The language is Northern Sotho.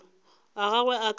a gagwe a ka se